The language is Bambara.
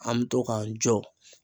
An mi to k'an jɔ